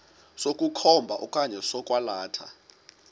sokukhomba okanye sokwalatha